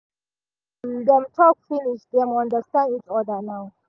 um dem talk finish dem understand each other now